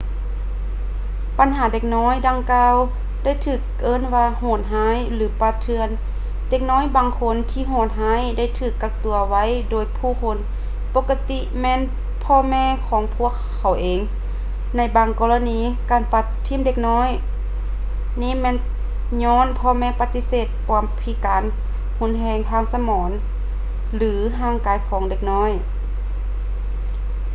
ບັນດາເດັກນ້ອຍດັ່ງກ່າໄດ້ຖືກເອີ້ນວ່າ ໂຫດຮ້າຍ” ຫຼື ປ່າເຖື່ອນ. ເດັກນ້ອຍບາງຄົນທີ່ໂຫດຮ້າຍໄດ້ຖືກກັກຕົວໄວ້ໂດຍຜູ້ຄົນ ປົກກະຕິແມ່ນພໍ່ແມ່ຂອງພວກເຂົາເອງ; ໃນບາງກໍລະນີການປະຖິ້ມເດັກນ້ອຍນີ້ແມ່ນຍ້ອນພໍ່ແມ່ປະຕິເສດຄວາມພິການຮຸນແຮງທາງສະໝອງ ຫຼື ທາງຮ່າງກາຍຂອງເດັກ